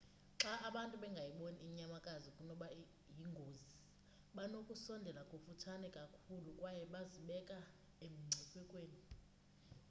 xa abantu bengayiboni inyamakazi inokuba yingozi banokusondela kufutshane kakhulu kwaye bazibeka emngciphekweni